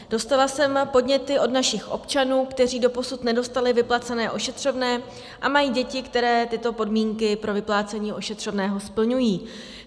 Dostala jsem podněty od našich občanů, kteří doposud nedostali vyplacené ošetřovné a mají děti, které tyto podmínky pro vyplácení ošetřovného splňují.